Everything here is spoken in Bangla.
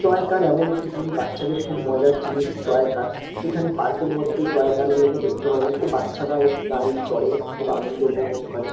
টয় কার এমন একটি জিনিস বাচ্চাদের খুব মজার জিনিস টয় কার । এখানে পার্ক -এর মধ্যে টয় কার -গুলোকে দেখতে পাবেন। ও বাচ্চারা এই গাড়ি চড়ে খুব আনন্দ উপভোগ করে।